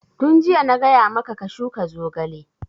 Tun jiya na gaya maka ka shuka zogale!